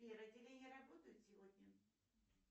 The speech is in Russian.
сбер отделения работают сегодня